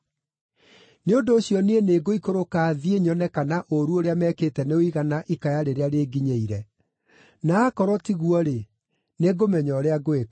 Nĩ ũndũ ũcio niĩ nĩngũikũrũka thiĩ nyone kana ũũru ũrĩa mekĩte nĩũigana ikaya rĩrĩa rĩnginyĩire. Na aakorwo tiguo-rĩ, nĩngũmenya ũrĩa ngwĩka.”